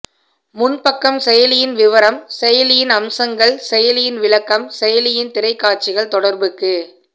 முன்பக்கம் செயலியின் விவரம் செயலியின் அம்சங்கள் செயலியின் விளக்கம் செயலியின் திரைக்காட்சிகள் தொடர்புக்கு